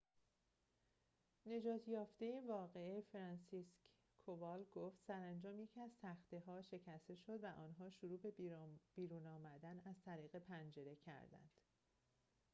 نجات یافته واقعه فرانسیسکک کوال گفت سرانجام یکی از تخته ها شکسته شد و آنها شروع به بیرون آمدن از طریق پنجره کردند